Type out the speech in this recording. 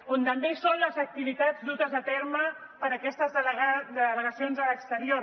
on també hi són les activitats dutes a terme per aquestes delegacions a l’exterior